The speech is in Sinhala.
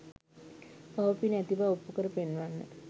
පව පින ඇති බව ඔප්පු කර පෙන්වන්න.